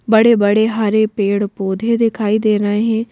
बड़े-बड़े हरे पेड़-पौधे दिखाई दे रहे हैं।